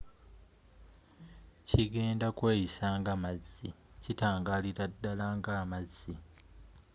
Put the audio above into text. kigenda kweyisa nga mazzi.kitangalira ddala nga amazzi